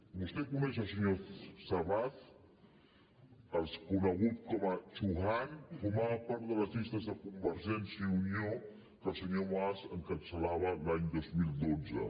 vostè coneix el senyor shabaz el conegut com a chuhan formava part de les llistes de convergència i unió que el senyor mas encapçalava l’any dos mil dotze